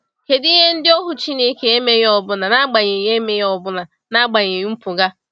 Kedụ ihe ndị ohu Chineke emeghị ọbụna n’agbanyeghị emeghị ọbụna n’agbanyeghị mpụga?